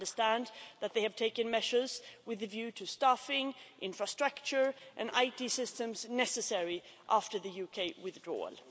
We understand that they have taken measures with a view to staffing, infrastructure and IT systems necessary after the UK withdrawal.